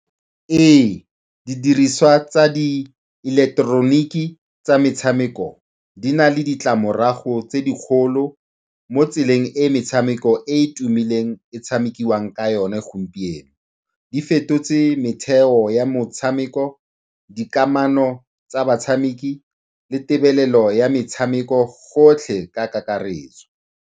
Ee, didiriswa tsa diileketeroniki tsa metshameko di na le ditlamorago tse dikgolo mo tseleng e metshameko e e tumileng e tshamekiwang ka yone gompieno. Di fetotse metheo ya motshameko, dikamano tsa batshameki le tebelelo ya metshameko, gotlhe ka kakaretso.